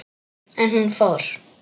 En hún fór.